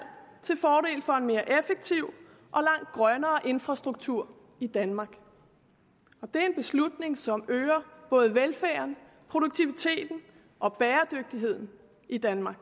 har for en mere effektiv og lang grønnere infrastruktur i danmark det er en beslutning som øger både velfærden produktiviteten og bæredygtigheden i danmark